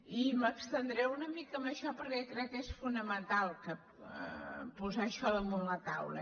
i m’estendré una mica en això perquè crec que és fonamental posar això damunt la taula